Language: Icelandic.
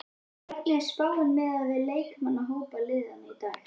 Hvernig er spáin miðað við leikmannahópa liðanna í dag?